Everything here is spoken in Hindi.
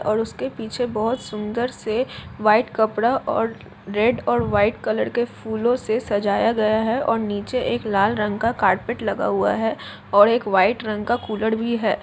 और उसके पीछे बहुत सुन्दर से वाइट कपड़ा ओर रेड और व्हाइट कलर के फूलों से सजाया गया है और नीचे एक लाल रंग का कारपेट लगा हुआ है और एक व्हाइट रंग का कूलर भी है ।